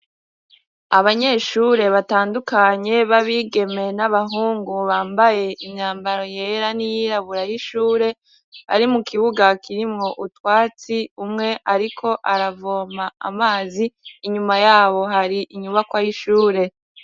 abanyeshure batandukanye b'abigeme n'abahungu bambaye imyambaro yera n'iyirabura y'ishure bari mu kibuga kirimwo utwatsi umwe ariko aravoma amazi inyuma yabo hari inyubakwa y'ishure